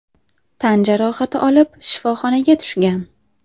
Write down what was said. tan jarohati olib shifoxonaga tushgan.